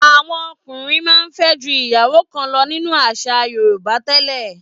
Àwọn ọkùnrin máa ń fẹ́ ju ìyàwó kan lọ nínú àṣà Yorùbá tẹ́lẹ̀.